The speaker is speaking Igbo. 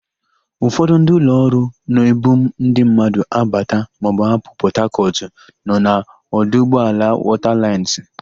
Ụfọdụ ndị ụlọọrụ na-ebu ndị mmadụ abata maọbụ apụ Pọtakọtụ nọ na ọdụụgbọala Wọtalaịnsị.